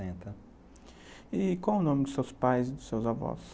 E qual o nome dos seus pais e dos seus avós?